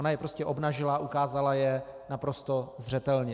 Ona je prostě obnažila, ukázala je naprosto zřetelně.